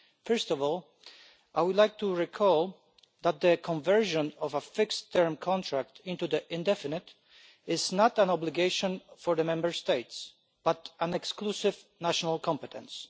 First of all, I would like to remind you that the conversion of a fixed term contract into an indefinite one is not an obligation for Member States, but an exclusive national competence.